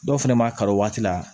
Dɔw fɛnɛ ma kalan waati la